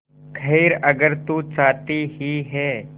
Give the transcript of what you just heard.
खैर अगर तू चाहती ही है